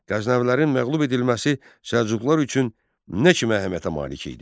Qəznəvilərin məğlub edilməsi Səlcuqlar üçün nə kimi əhəmiyyətə malik idi?